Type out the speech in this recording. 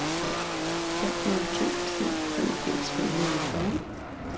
fem nul to syv femogfirs fem hundrede og fyrre